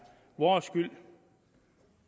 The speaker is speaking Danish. vores skyld